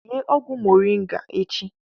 Sie ọgwụ moringa echi!